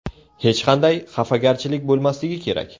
Hech qanday xafagarchilik bo‘lmasligi kerak.